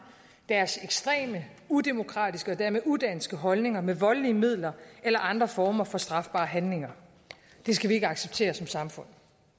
deres ekstreme udemokratiske og dermed udanske holdninger med voldelige midler eller andre former for strafbare handlinger det skal vi ikke acceptere som samfund